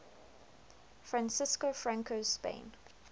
francisco franco's spain